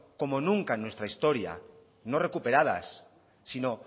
como nunca en nuestra historia no recuperadas sino